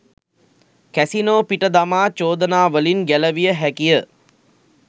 casino පිට දමා චෝදනාවලින් ගැලවිය හැකිය